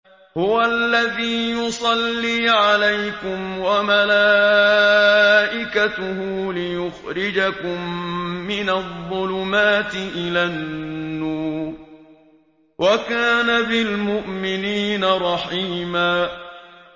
هُوَ الَّذِي يُصَلِّي عَلَيْكُمْ وَمَلَائِكَتُهُ لِيُخْرِجَكُم مِّنَ الظُّلُمَاتِ إِلَى النُّورِ ۚ وَكَانَ بِالْمُؤْمِنِينَ رَحِيمًا